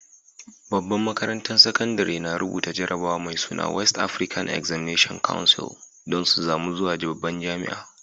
Babban makarantan sakandare na rubuta jarabawa mai suna West African Examination Council dan su samu zuwa babban jami'a.